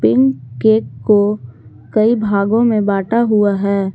Pink cake को कई भागों में बांटा हुआ है।